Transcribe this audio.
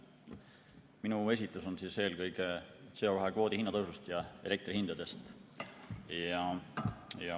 Minu esitlus on eelkõige CO2 kvoodi hinna tõusust ja elektrihindadest.